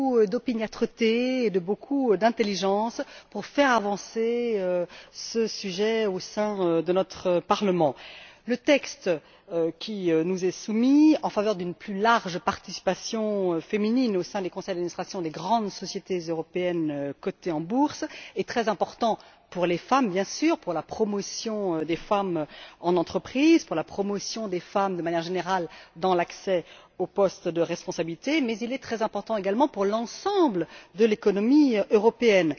d'opiniâtreté et d'intelligence pour faire avancer ce sujet au sein de notre Parlement. Le texte qui nous est soumis, en faveur d'une plus large participation féminine au sein des conseils d'administration des grandes sociétés européennes cotées en bourse, est très important pour les femmes, bien sûr, pour la promotion des femmes dans les entreprises, pour la promotion des femmes, de manière générale, dans l'accès aux postes à responsabilités, mais il est également très important pour l'ensemble de l'économie européenne.